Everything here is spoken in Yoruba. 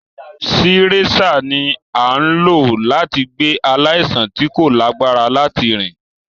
Sireṣạ ni a n lo lati gbe alaisan ti ko lagbara lati rin.